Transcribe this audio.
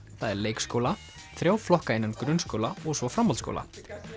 það er leikskóla þrjá flokka innan grunnskóla og svo framhaldsskóla